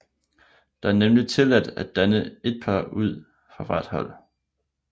Der er nemlig tilladt at danne et par ud fra hvert hold